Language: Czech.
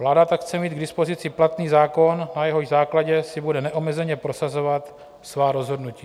Vláda tak chce mít k dispozici platný zákon, na jehož základě si bude neomezeně prosazovat svá rozhodnutí.